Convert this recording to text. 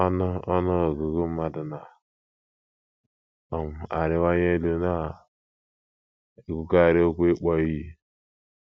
Ọnụ Ọnụ ọgụgụ mmadụ na - um arịwanye elu na - ekwukarị okwu ịkpọ iyi.